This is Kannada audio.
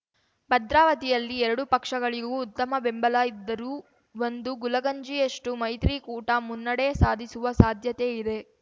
ಭದ್ರಾವತಿಯಲ್ಲಿ ಎರಡೂ ಪಕ್ಷಗಳಿಗೂ ಉತ್ತಮ ಬೆಂಬಲ ಇದ್ದರೂ ಒಂದು ಗುಲಗಂಜಿಯಷ್ಟುಮೈತ್ರಿಕೂಟ ಮುನ್ನಡೆ ಸಾಧಿಸುವ ಸಾಧ್ಯತೆಇದೆ